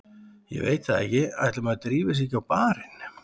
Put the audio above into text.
Ég veit það ekki, ætli maður drífi sig ekki á barinn.